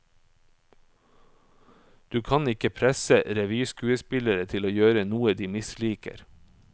Du kan ikke presse revyskuespillere til å gjøre noe de misliker.